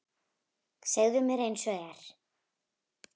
Segðu mér einsog er.